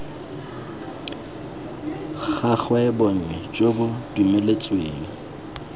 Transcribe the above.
gagwe bonnye jo bo dumeletsweng